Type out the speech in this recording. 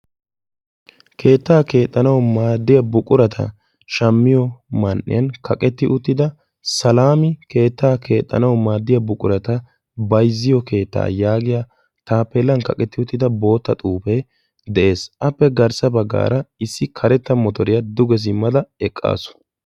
Keetta keexxanaw maaddiya buqurata shammiyo man"iyaan kaqqetti uttida Salami keetta keexxanaw maaddiyaa buqurata bayzziyo keetta yaagiya taappelan kaqqeri uttida bootta xuufe dees. Appe garssa baggaan ussi karetta motoriyaa duge simmada eqqaasu.